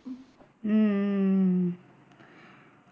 ஹம் உம்